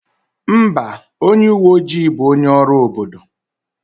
Mba, onye uwe ojii bụ onye ọrụ obodo.